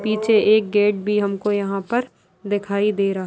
पीछे एक गेट भी हमको यहाँ पर दिखाई दे रहा--